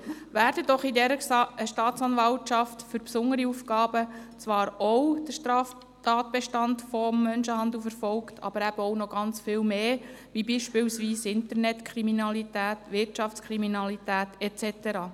Von dieser Staatsanwaltschaft für besondere Aufgaben wird zwar der Straftatbestand des Menschenhandels verfolgt, aber eben auch noch ganz viel mehr, wie beispielsweise Internetkriminalität, Wirtschaftskriminalität und so weiter.